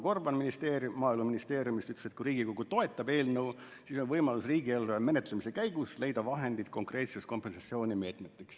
Marko Gorban Maaeluministeeriumist vastas, et kui Riigikogu toetab eelnõu, siis on võimalus riigieelarve menetlemise käigus leida vahendid konkreetseteks kompensatsioonimeetmeteks.